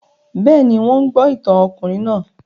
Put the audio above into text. Bẹ́ẹ̀ ni, wọ́n ń gbọ́ ìtàn ọkùnrin náà